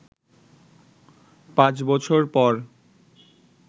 পাঁচ বছর পর